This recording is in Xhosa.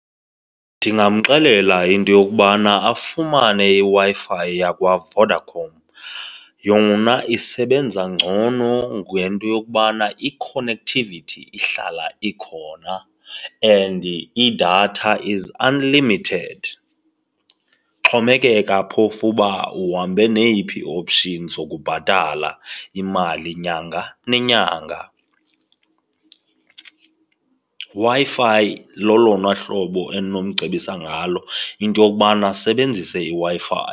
Ndingamxelela into yokubana afumane iWi-fi yakwaVodacom, yona isebenza ngcono ngento yokubana i-connectivity ihlala ikhona and idatha is unlimited. Xhomekeka phofu uba uhambe neyiphi ii-options zokubhatala imali nyanga nenyanga. Wi-Fi lolona uhlobo endinomcebisa ngalo, into yokubana asisebenzise iWi-Fi.